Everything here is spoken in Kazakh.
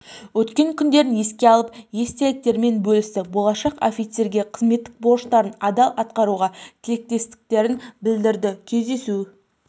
өткен күндерін еске алып естеліктерімен бөлісті болашақ офицерлерге қызметтік борыштарын адал атқаруға тілектестіктерін білдірді кездесу